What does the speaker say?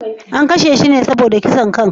An kashe shi ne saboda kisan kai?